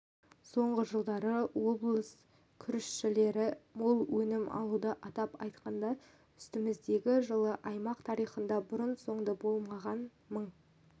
соңғы жылдары облыс күрішшілері мол өнім алуда атап айтқанда үстіміздегі жылы аймақ тарихында бұрын-соңды болмаған мың